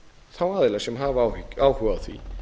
þá aðila sem hafa áhuga á því